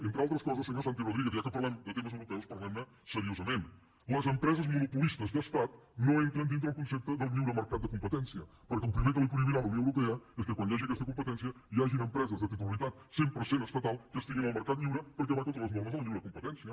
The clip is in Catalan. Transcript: entre altres coses senyor santi rodríguez ja que parlem de temes europeus parlem ne seriosament les empreses monopolistes d’estat no entren dintre el concepte del lliure mercat de competència perquè el primer que li prohibirà la unió europea és que quan hi hagi aquesta competència hi hagin empreses de titularitat cent per cent estatal que estiguin al mercat lliure perquè va contra les normes de la lliure competència